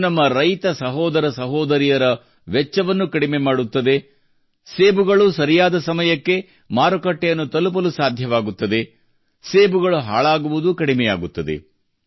ಇದು ನಮ್ಮ ರೈತ ಸಹೋದರ ಸಹೋದರಿಯರ ವೆಚ್ಚವನ್ನು ಕಡಿಮೆ ಮಾಡುತ್ತದೆ ಸೇಬುಗಳು ಸರಿಯಾದ ಸಮಯಕ್ಕೆ ಮಾರುಕಟ್ಟೆಯನ್ನು ತಲುಪಲು ಸಾಧ್ಯವಾಗುತ್ತದೆ ಸೇಬುಗಳು ಹಾಳಾಗುವುದೂ ಕಡಿಮೆಯಾಗುತ್ತದೆ